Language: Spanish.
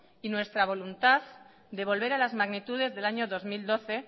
y nuestra voluntad de volver a las magnitudes del año dos mil doce